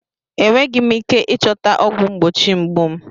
Enweghị m ike ịchọta ọgwụ mgbochi mgbu m.